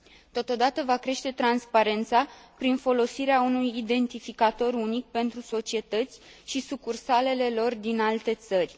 Totodată, va crește transparența, prin folosirea unui identificator unic pentru societăți și sucursalele lor din alte țări.